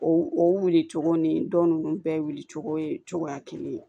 O o wilicogo ni dɔn nunnu bɛɛ wulicogo ye cogoya kelen